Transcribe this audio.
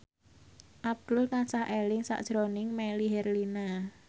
Abdul tansah eling sakjroning Melly Herlina